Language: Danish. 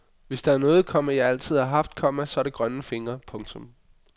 Hvis der er noget, komma jeg altid har haft, komma så er det grønne fingre. punktum